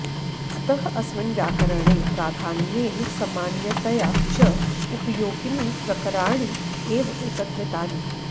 अतः अस्मिन् व्याकरणे प्राधान्येन सामान्यतया च उपयोगीनि प्रकरणानि एव एकत्रीकृतानि